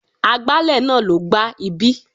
Agbálẹ̀ náà ló gbá ibí.